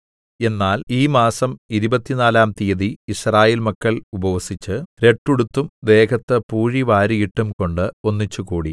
എന്നാൽ ഈ മാസം ഇരുപത്തിനാലാം തീയതി യിസ്രായേൽ മക്കൾ ഉപവസിച്ച് രട്ടുടുത്തും ദേഹത്ത് പൂഴി വാരിയിട്ടും കൊണ്ട് ഒന്നിച്ചുകൂടി